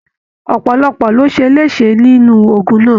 Ọpọlọpọ lo ṣe lese nínú ogún náà.